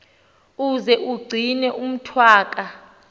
uze umgcine umntwaka